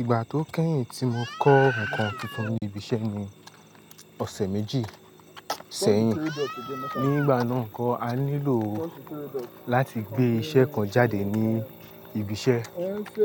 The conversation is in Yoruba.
Ìgbà tó kẹ́yìn tí mo kọ́ ǹkan tuntun ní ibi iṣẹ́ ni ọ̀sẹ̀ méjì sẹ́yìn. Ni ìgbà náà kọ́, a nílò láti gbé iṣẹ́ kan jáde ní ibi iṣẹ́.